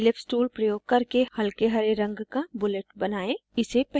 ellipse tool प्रयोग करके हल्के हरे रंग का bullet बनाएं